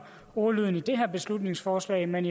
ordlyden i det her beslutningsforslag men